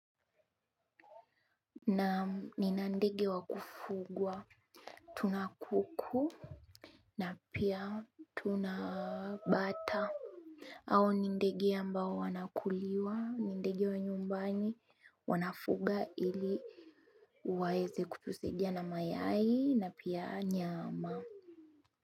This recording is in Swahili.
Naam nina ndege wa kufugwa tuna kuku na pia tuna bata hao ni ndege ambao wanakuliwa ni ndege wa nyumbani wanafuga ili waeze kutusaidia na mayai na pia nyama.